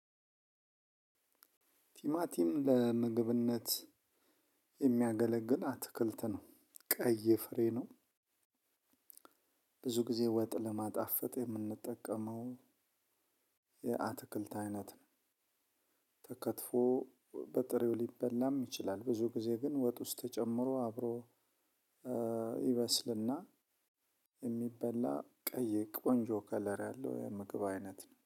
ቲማቲም ለምግብነት የሚያገለግል አትክልት ነው ቀይ ፍሬ ነው። ብዙ ጊዜ ወጥ ለማጣፈጥ የምንጠቀመው የአትክልት አይነት ነው። ተከትፎ በጥሬው ሊበላም ይችላል። ብዙ ጊዜ ግን ወጥ ውስጥ ተጨምሮ አብሮ። ይበስልና የሚበላ ቀይ ቆንጆ ከለር ያለው የምግብ አይነት ነው